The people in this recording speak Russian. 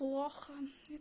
плохо и